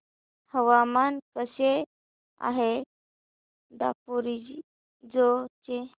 हवामान कसे आहे दापोरिजो चे